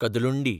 Kadalundi